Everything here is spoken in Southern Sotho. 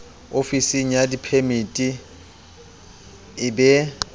ofisng ya diphemiti e be